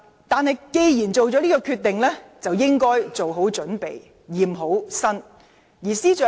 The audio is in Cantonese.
她既然做了這個決定，就應該做好準備，驗明正身。